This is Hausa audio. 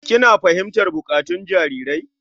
Kina fahimtar buƙatun jarirai?